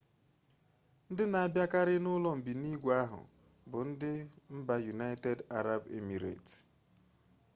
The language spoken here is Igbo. ndị na-abịakarị n'ụlọ mbinigwe ahụ bụ ndị mba yunaịtedị arabụ emireti